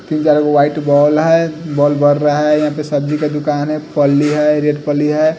White ball है ball बर रहा है यहाँ पे सबजी का दुकान है पली है रेड पली है।